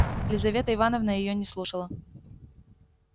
лизавета ивановна её не слушала